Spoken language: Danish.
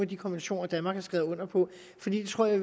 de konventioner danmark har skrevet under på for det tror jeg